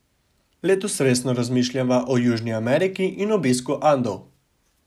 Letos resno razmišljava o Južni Ameriki in obisku Andov.